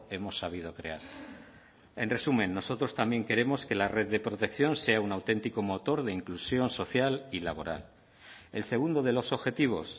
hemos sabido crear en resumen nosotros también queremos que la red de protección sea un auténtico motor de inclusión social y laboral el segundo de los objetivos